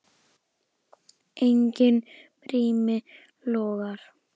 Enginn brími logar.